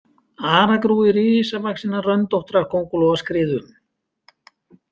Aragrúi risavaxinna röndóttra kóngulóa skriðu um.